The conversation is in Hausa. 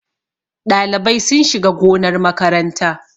Ɗalibai sun shiga gonar makaranta